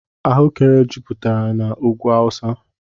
Ahụekere juputere n' úgwú awusa.